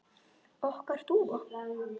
Okkar dúfa?